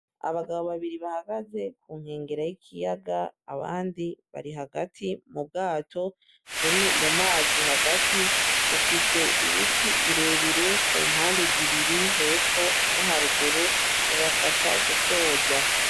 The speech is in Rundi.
Abagabo babiri bahagaze ku nkengera z'ikiyaga abandi bahagaze mu bwato buri mumazi hagati ,bufise Ibiti birebire kumpande zibiri hepfo no haruguru bubafasha gusoza.